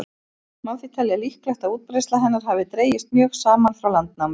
Má því telja líklegt að útbreiðsla hennar hafi dregist mjög saman frá landnámi.